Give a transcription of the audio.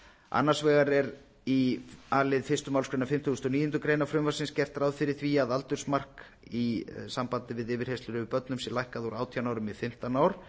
annars vegar er í a lið fyrstu málsgrein fimmtugustu og níundu grein frumvarpsins gert ráð fyrir því að aldursmark í sambandi við yfirheyrslur yfir börnum sé lækkað úr átján árum í fimmtán ár